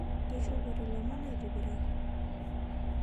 Keishopote lomon aitibiraki